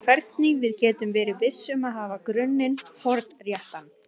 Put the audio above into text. Spurningin er þá hvernig við getum verið viss um að hafa grunninn hornréttan.